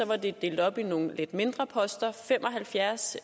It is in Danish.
var det delt op i nogle lidt mindre poster fem og halvfjerds